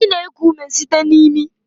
Anyị na-eku ume site na imi